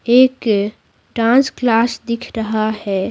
एक dance class दिख रहा है।